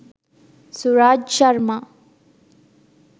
suraj sharma